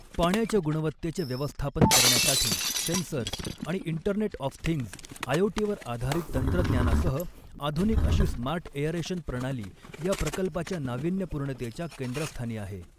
पाण्याच्या गुणवत्तेचे व्यवस्थापन करण्यासाठी सेन्सर्स आणि इंटरनेट ऑफ थिंग्स आयओटी वर आधारित तंत्रज्ञानासह आधुनिक अशी स्मार्ट एअरेशन प्रणाली या प्रकल्पाच्या नावीन्यपूर्णतेच्या केंद्रस्थानी आहे.